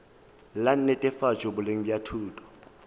la netefatšo boleng bja thuto